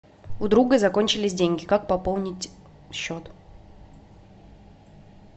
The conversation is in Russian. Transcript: у друга закончились деньги как пополнить счет